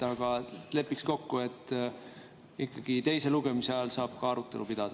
Aga lepiks kokku, et teise lugemise ajal saab ka arutelu pidada.